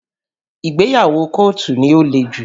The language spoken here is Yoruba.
Ìgbéyàwó kọ́ọ̀tù ni ó le jù